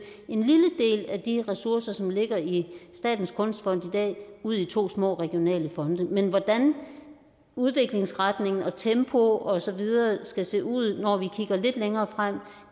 en lille del af de ressourcer som ligger i statens kunstfond i dag ud i to små regionale fonde men hvordan udviklingsretning tempo og så videre skal se ud når vi kigger lidt længere frem